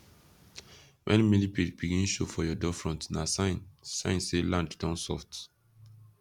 when millipede begin show for your doorfront na sign sign say land don soft